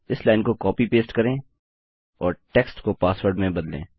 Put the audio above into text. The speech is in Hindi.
इस लाइन को कॉपी पेस्ट करें और टेक्स्ट को पासवर्ड में बदलें